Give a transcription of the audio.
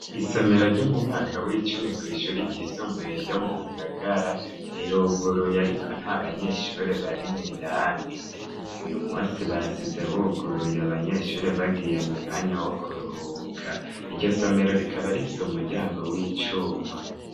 Isomero ryo mu mwaka w'icumi kw'ishuri ry'isumbuye ryo mu Ngagara, riruguruye ariko nta banyeshuri barimwo indani. Uyu munsi basize buguruye abanyeshuri bagiye mu mwanya wo kuruhuka. Iryo somero rikaba rifise umuryango w'icuma.